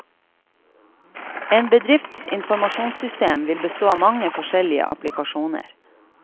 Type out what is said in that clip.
En bedrifts informasjonssystem vil bestå av mange forskjellige applikasjoner.